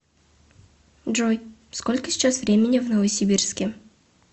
джой сколько сейчас времени в новосибирске